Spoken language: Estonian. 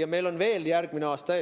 ja meil on veel järgmine aasta ees.